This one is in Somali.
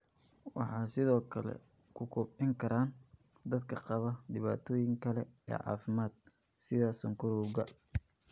Waxay sidoo kale ku kobcin karaan dadka qaba dhibaatooyin kale oo caafimaad, sida sonkorowga.